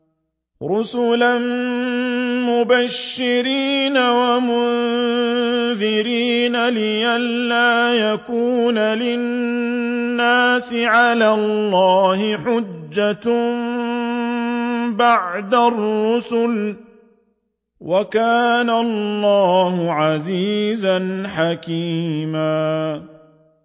رُّسُلًا مُّبَشِّرِينَ وَمُنذِرِينَ لِئَلَّا يَكُونَ لِلنَّاسِ عَلَى اللَّهِ حُجَّةٌ بَعْدَ الرُّسُلِ ۚ وَكَانَ اللَّهُ عَزِيزًا حَكِيمًا